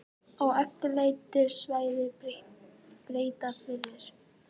Á eftirlitssvæði Breta fyrir